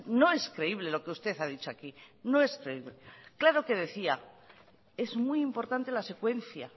no es creíble lo que usted ha dicho aquí no es creíble claro que decía es muy importante la secuencia